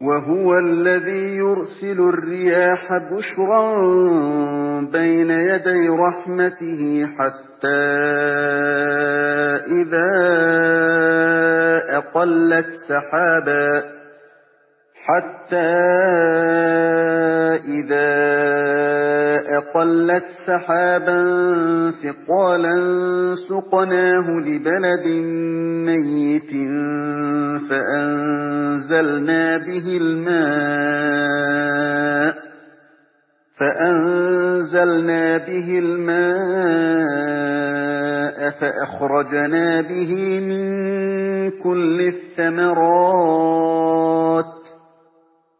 وَهُوَ الَّذِي يُرْسِلُ الرِّيَاحَ بُشْرًا بَيْنَ يَدَيْ رَحْمَتِهِ ۖ حَتَّىٰ إِذَا أَقَلَّتْ سَحَابًا ثِقَالًا سُقْنَاهُ لِبَلَدٍ مَّيِّتٍ فَأَنزَلْنَا بِهِ الْمَاءَ فَأَخْرَجْنَا بِهِ مِن كُلِّ الثَّمَرَاتِ ۚ